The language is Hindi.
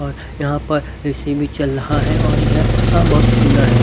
और यहां पर ए_सी भी चल रहा है और यह बहोत सुंदर है।